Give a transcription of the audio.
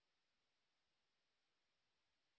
এই লিঙ্ক এ উপলব্ধ ভিডিও টি দেখুন